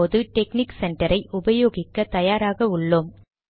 இப்போது technique center ஐ உபயோகிக்க தயாராக உள்ளோம்